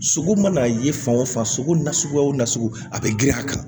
Sogo mana ye fan o fan sogo nasuguya o nasugu a bɛ girin a kan